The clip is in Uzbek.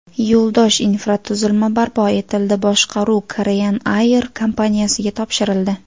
Yo‘ldosh infratuzilma barpo etildi, boshqaruv Korean Air kompaniyasiga topshirildi.